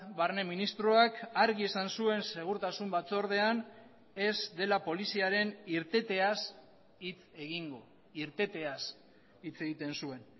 barne ministroak argi esan zuen segurtasun batzordean ez dela poliziaren irteteaz hitz egingo irteteaz hitz egiten zuen